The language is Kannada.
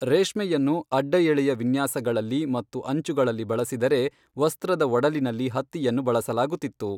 ರೇಷ್ಮೆಯನ್ನು ಅಡ್ಡಎಳೆಯ ವಿನ್ಯಾಸಗಳಲ್ಲಿ ಮತ್ತು ಅಂಚುಗಳಲ್ಲಿ ಬಳಸಿದರೆ, ವಸ್ತ್ರದ ಒಡಲಿನಲ್ಲಿ ಹತ್ತಿಯನ್ನು ಬಳಸಲಾಗುತ್ತಿತ್ತು.